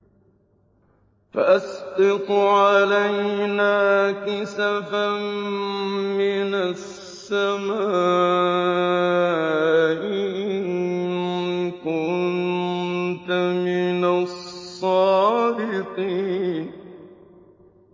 فَأَسْقِطْ عَلَيْنَا كِسَفًا مِّنَ السَّمَاءِ إِن كُنتَ مِنَ الصَّادِقِينَ